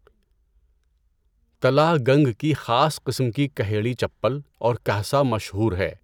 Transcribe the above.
تَلہ گَنگ کی خاص قسم کی کهیڑی چپل اورکهسہ مشہور ہے۔